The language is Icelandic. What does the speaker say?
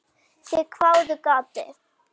Þeir hváðu: Gati?